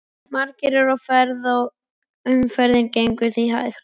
Margir eru á ferð og umferðin gengur því hægt.